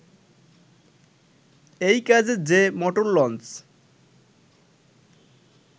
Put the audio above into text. এই কাজে যে মোটর লঞ্চ